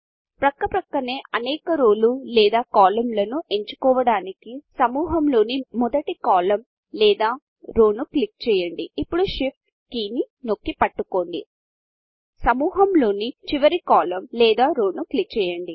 పక్క పక్కనే అనేక రోలు లేదా కాలమ్ లను ఎంచుకోవడానికి సమూహంలోని మొదటి కాలమ్ లేదా రో ను క్లిక్ చేయండి ఇప్పుడు Shift కీ నొక్కి పట్టుకోండి సమూహంలోని చివరి కాలమ్ లేదా రోను క్లిక్ చేయండి